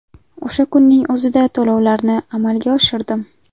O‘sha kunning o‘zida to‘lovlarni amalga oshirdim.